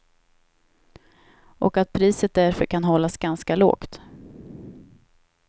Och att priset därför kan hållas ganska lågt.